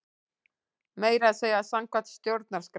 Meira að segja samkvæmt stjórnarskrá!